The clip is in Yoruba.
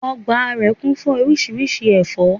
Ọgbà rẹ̀ kún fún oríṣiríṣi ẹ̀fọ́